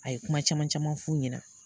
A ye kuma caman caman f'u ɲɛna.